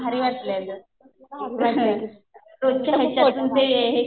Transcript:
हा . खूप भारी. तिथं खूप फोटो